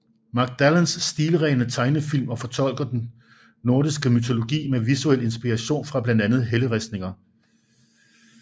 Mac Dallands stilrene tegnefilm fortolker den nordiske mytologi med visuel inspiration fra blandt andet helleristninger